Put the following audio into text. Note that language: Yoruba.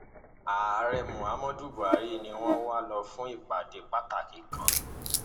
ààrẹ muhammadu buhari ni wọn wá lò fún ìpàdé pàtàkì kan